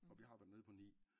Og vi har været nede på 9